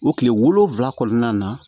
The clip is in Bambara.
O kile wolonfila kɔnɔna na